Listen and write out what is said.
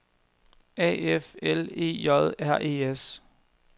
A F L E J R E S